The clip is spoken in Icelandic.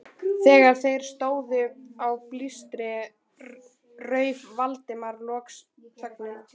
Þegar þeir stóðu á blístri rauf Valdimar loks þögnina.